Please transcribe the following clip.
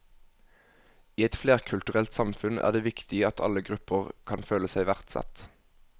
I et flerkulturelt samfunn er det viktig at alle grupper kan føle seg verdsatt.